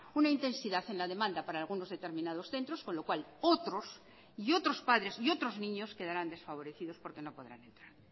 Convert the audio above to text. una intensidad en la demanda para algunos determinados centros con lo cual otros y otros padres y otros niños quedarán desfavorecidos porque no podrán entrar